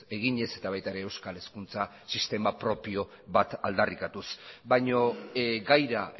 eginez eta baita ere euskal hezkuntza sistema propio bat aldarrikatuz baino gaira